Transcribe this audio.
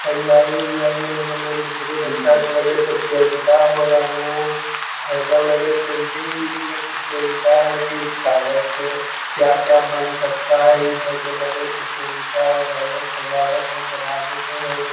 तइयारी-उइयारी हो रहले है बुतरू बच्चा के लगे है प्रतियोगिता हो रहल है | एजा लग हई पेंटिंग उन्टिंग के प्रतियोगिता है की कागज से क्या-क्या बन सकता है इ सब के लग है प्रतियोगिता हो रहल है सजावे और बनावे के हई I